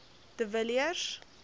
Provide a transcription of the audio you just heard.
de villiers